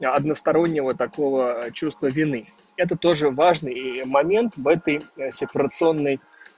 одностороннего такого чувства вины это тоже важный момент в этой сепарационной